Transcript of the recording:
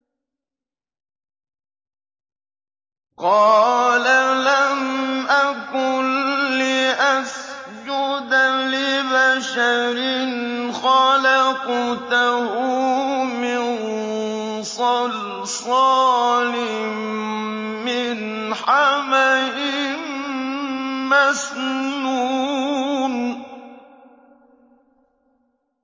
قَالَ لَمْ أَكُن لِّأَسْجُدَ لِبَشَرٍ خَلَقْتَهُ مِن صَلْصَالٍ مِّنْ حَمَإٍ مَّسْنُونٍ